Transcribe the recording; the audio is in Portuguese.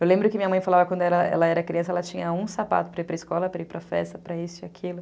Eu lembro que minha mãe falava que quando ela ela era criança, ela tinha um sapato para ir para a escola, para ir para a festa, para isso e aquilo.